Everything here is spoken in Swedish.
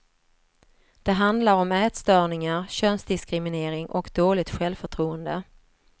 Det handlar om ätstörningar, könsdiskriminering och dåligt självförtroende.